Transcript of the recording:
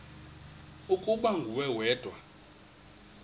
ukuba nguwe wedwa